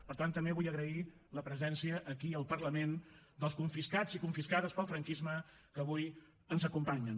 per tant també vull agrair la presència aquí al parlament dels confiscats i confiscades pel franquisme que avui ens acompanyen